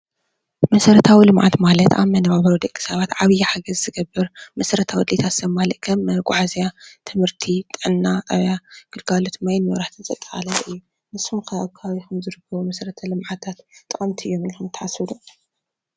መሰረታዊ ልምዓት ማለት ኣብ መነባብሮ ደቂ ሰባት ዓብይ ሓገዝ ዝገብር መሰረታዊ ድልየታት ዘማልእ ከም መጋዓዝያ ፣ትምህርቲ፣ ጥዕና ጣብያ፣ ግልጋሎት ማይን መብራህቲን ዘጠቃለለ እዩ። ንስኩም ከ ኣብ ከባቢኩም ዝርከቡ መሰረታዊ ልምዓታት ጠቀምቲ እዮም ኢልኩም ተሓስብ ዶ?